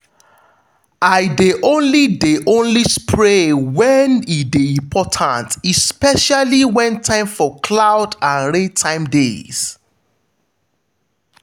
i de only de only spray when e de important especially when time for cloud and rain time deys